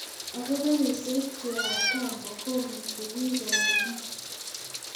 Ako, karisiek chu ab kambok komiti biik koune?